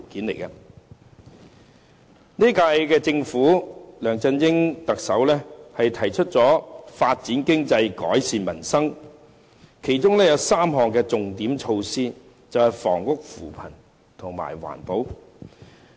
本屆政府梁振英特首提出發展經濟，改善民生，其中有3項重點措施，便是房屋、扶貧和環保。